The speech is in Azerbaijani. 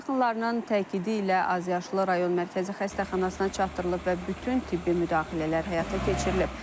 Yaxınlarının təkidi ilə azyaşlı rayon Mərkəzi Xəstəxanasına çatdırılıb və bütün tibbi müdaxilələr həyata keçirilib.